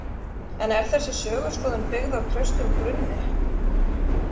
En er þessi söguskoðun byggð á traustum grunni?